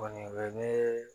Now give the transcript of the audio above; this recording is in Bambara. Kɔni o ye ne